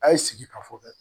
A ye sigi ka fɔ kɛ